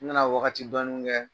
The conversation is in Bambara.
N mina wagati dɔni kɛ.